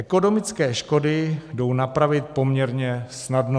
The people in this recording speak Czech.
Ekonomické škody jdou napravit poměrně snadno.